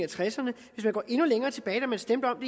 tresserne hvis man går endnu længere tilbage da man stemte om